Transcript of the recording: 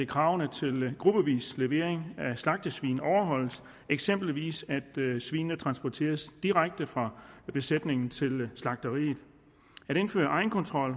kravene til gruppevis levering af slagtesvin overholdes eksempelvis at svinene transporteres direkte fra besætningen til slagteriet at indføre egenkontrol